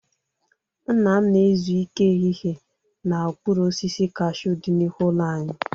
Nna m na-ezu ike ehihie n'okpuru osisi kashuu dị n'ihu ụlọ anyị.